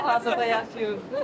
Nə vaxtdır yaşayırsınız.